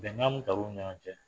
Bɛnkan ɲɔgɔn cɛ.